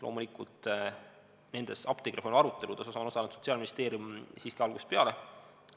Loomulikult, nendes apteegireformi aruteludes on osalenud Sotsiaalministeerium siiski algusest peale.